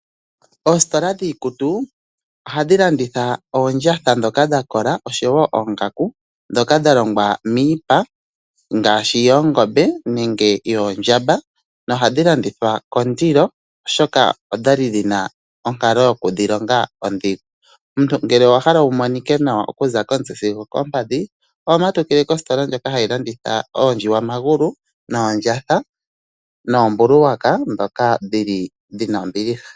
Oostola dhiikutu ohadhi landitha oondjatha ndhoka dha kola oshowo oongaku ndhoka dha longwa miipa ngaashi yoongombe nenge yoondjamba nohadhi landithwa kondilo, oshoka odha li dhina onkalo yoku dhi longa ondhigu. Omuntu ngele owa hala wu monike nawa oku za komutse sigo okoompadhi oho matukile kostola ndjoka hayi landitha oondjiwamagulu noondjatha noombuluwaka ndhoka dhili dhina ombiliha.